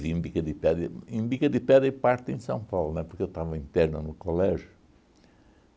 em Bica de Pedra em Bica de Pedra e parte em São Paulo, né, porque eu estava interno no colégio.